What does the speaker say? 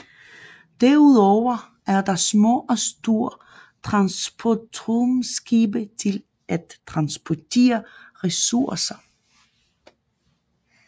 Derudover er der små og store transportrumskibe til at transportere ressourcer